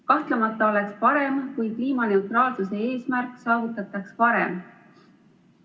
Kahtlemata oleks parem, kui kliimaneutraalsuse eesmärk saavutataks varem.